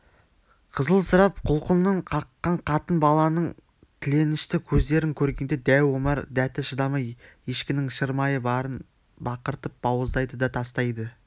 қызылсырап құлқынын қаққан қатын-баланың тіленішті көздерін көргенде дәу омар дәті шыдамай ешкінің шырмайы барын бақыртып бауыздайды да тастайды